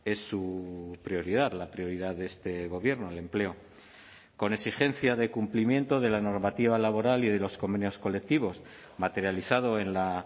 es su prioridad la prioridad de este gobierno el empleo con exigencia de cumplimiento de la normativa laboral y de los convenios colectivos materializado en la